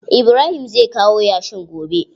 Ibrahim zai kawo yashin gobe.